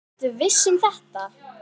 Ertu viss um þetta?